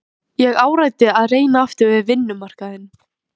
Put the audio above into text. Ég áræddi að reyna aftur við vinnumarkaðinn.